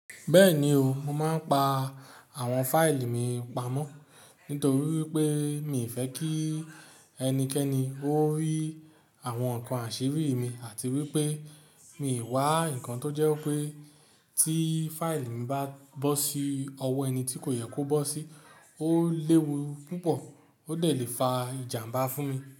Bẹ́ẹ̀ni o, mo máa ń pa àwọn fáìlì mi pamọ́ nítorí wípé mi fẹ́ kí ẹnikẹ́ni ó rí àwọn nǹkan àṣírí mi àti wípé mi ò wá nǹkan tó jẹ́ wipé tí fáìlì mi bá bọ́ sí ọwọ́ ẹni tí kò yẹ kó bọ́ sí, ó léwu púpọ̀, ó dè lè fa ìjàmbá fún mi.